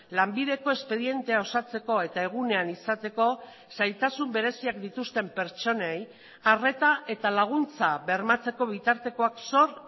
lanbideko espedientea osatzeko eta egunean izateko zailtasun bereziak dituzten pertsonei arreta eta laguntza bermatzeko bitartekoak sor